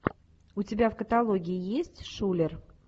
у тебя в каталоге есть шуллер